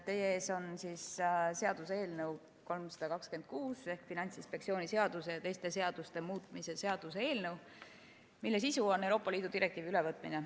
Teie ees on seaduseelnõu 326 ehk Finantsinspektsiooni seaduse ja teiste seaduste muutmise seaduse eelnõu, mille sisu on Euroopa Liidu direktiivi ülevõtmine.